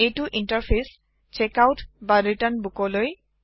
এইটো interface check out return বুকলৈ